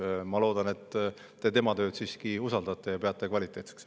Ma loodan, et te tema tööd siiski usaldate ja peate kvaliteetseks.